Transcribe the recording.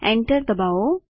enter ડબાઓ